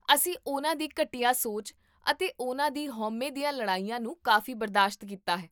ਅਸੀਂ ਉਹਨਾਂ ਦੀ ਘਟੀਆ ਸੋਚ ਅਤੇ ਉਹਨਾਂ ਦੀ ਹਉਮੈ ਦੀਆਂ ਲੜਾਈਆਂ ਨੂੰ ਕਾਫ਼ੀ ਬਰਦਾਸ਼ਤ ਕੀਤਾ ਹੈ